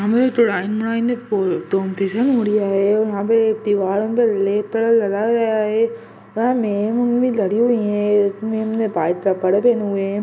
तडाई वडाईन तोमते यहा पे तेवहार हो न--